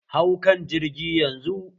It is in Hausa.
Hau kan jirgi yanzu!